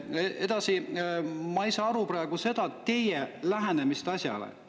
Edasi, ma ei saa aru praegu teie lähenemisest asjale.